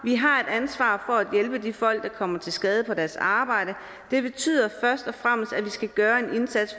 vi har et ansvar for at hjælpe de folk der kommer til skade på deres arbejde det betyder først og fremmest at vi skal gøre en indsats